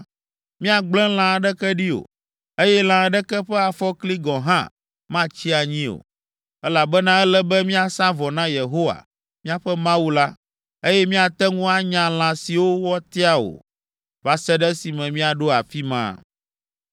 Míagblẽ lã aɖeke ɖi o, eye lã aɖeke ƒe afɔkli gɔ̃ hã matsi anyi o, elabena ele be míasa vɔ na Yehowa, míaƒe Mawu la, eye míate ŋu anya lã siwo wòatia o, va se ɖe esime míaɖo afi ma.”